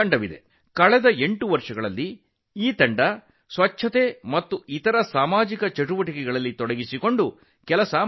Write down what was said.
ಕಳೆದ ಎಂಟು ವರ್ಷಗಳಿಂದ ಈ ತಂಡವು ಸ್ವಚ್ಛತೆ ಮತ್ತು ಇತರ ಸಮುದಾಯ ಚಟುವಟಿಕೆಗಳಲ್ಲಿ ಕೆಲಸ ಮಾಡುತ್ತಿದೆ